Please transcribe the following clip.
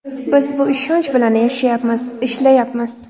Biz shu ishonch bilan yashayapmiz, ishlayapmiz.